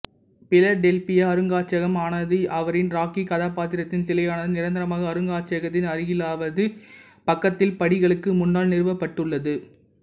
Philadelphia அருங்காட்சியகம் ஆனது அவரின் ராக்கி கதாப்பாத்திரத்தின் சிலையானது நிரந்தரமாக அருங்காட்சியகத்தின் அருகில்வலது பக்கத்தில் படிகளுக்கு முன்னால் நிறுவப்பட்டுள்ளது